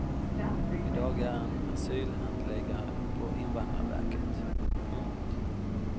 I dag är han asylhandläggare på invandrarverket. punkt